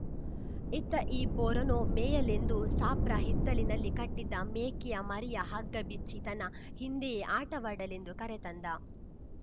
ಇತ್ತ ಈ ಪೋರನೋ ಮೇಯಲೆಂದು ಸಾಬ್ರ ಹಿತ್ತಲಿನಲ್ಲಿ ಕಟ್ಟಿದ್ದ ಮೇಕೆಯ ಮರಿಯ ಹಗ್ಗ ಬಿಚ್ಚಿ ತನ್ನ ಹಿಂದೆಯೇ ಆಟವಾಡಲೆಂದು ಕರೆತಂದ